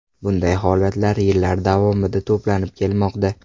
Bunday holatlar yillar davomida to‘planib kelmoqda.